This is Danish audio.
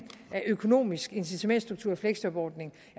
økonomisk incitamentsstruktur i fleksjobordningen